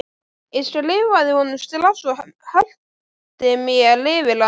Ég skrifaði honum strax og hellti mér yfir hann.